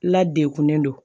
La degunnen don